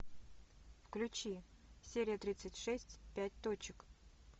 включи серия тридцать шесть пять точек